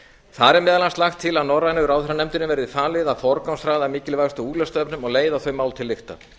þar er meðal annars lagt til að norrænu ráðherranefndinni verði falið að forgangsraða mikilvægustu úrlausnarefnum og leiða þau mál til lykta